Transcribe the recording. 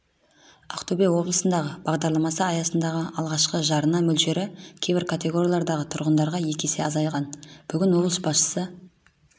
ақтөбе облысындағы бағдарламасы аясындағы алғашқы жарна мөлшері кейбір категориялардағы тұрғындарға екі есе азайған бүгін облыс басшысы